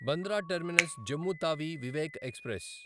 Bandra terminus Jammu Tawi Vivek express